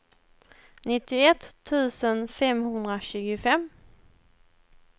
nittioett tusen femhundratjugofem